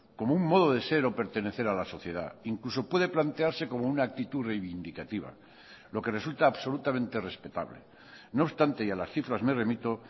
como un modo de ser o pertenecer a la sociedad incluso puede plantearse como una actitud reivindicativa lo que resulta absolutamente respetable no obstante y a las cifras me remito